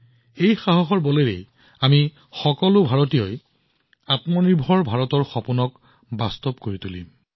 এই সাহসৰ আধাৰত আমি সকলোৱে আত্মনিৰভৰ ভাৰতৰ সপোন পূৰ্ণ কৰিম